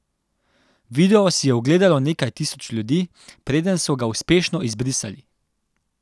Video si je ogledalo nekaj tisoč ljudi preden so ga uspešno izbrisali.